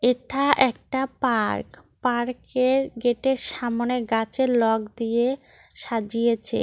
এটা একটা পার্ক পার্কের গেটের সামনে গাছের লগ দিয়ে সাজিয়েছে।